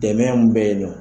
Dɛmɛ mun bɛ ye nɔ.